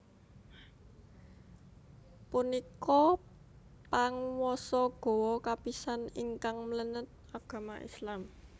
Punika panguwasa Gowa kapisan ingkang mlenet agama Islam